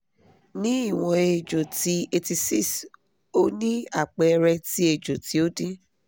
ní ìwọ̀n èjò ti eighty six o ni àpẹẹrẹ ti èjò tí o din